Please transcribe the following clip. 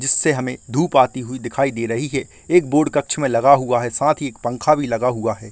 जिससे हमें दूप आती हुई दिखाई दे रही है एक बोर्ड कक्ष में लगा हुआ है साथ ही एक पंखा भी लगा हुआ है।